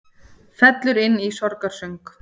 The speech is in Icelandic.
Fellur inn í sorgarsöng